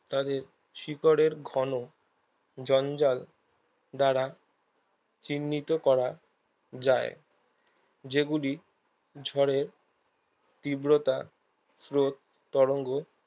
তাদের শিকড়ের ঘন জঞ্জাল দ্বারা চিহ্নিত করা যায় যেগুলি ঝড়ের তীব্রতা স্রোত তরঙ্গ